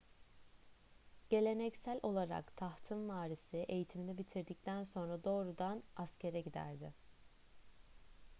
geleneksel olarak tahtın varisi eğitimini bitirdikten sonra doğrudan askere giderdi